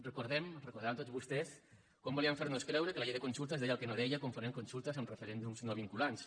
recordem ho deuen recordar tots vostès com volien fer nos creure que la llei de consultes deia el que no deia confonent consultes amb referèndums no vinculants